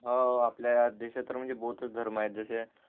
हाव आपल्या देशात तर बहुतच धर्म आहेत जसे